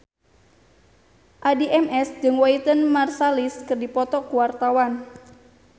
Addie MS jeung Wynton Marsalis keur dipoto ku wartawan